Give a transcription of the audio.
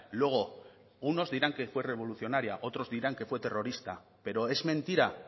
luego unos dirán que fue revolucionaria otros dirán que fue terrorista pero es mentira